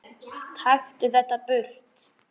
Taktu þetta burt!